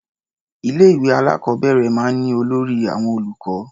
Ilé-ìwé alákọ̀ọ́bẹ̀rẹ̀ máa ń ní olórí àwọn olùkọ́.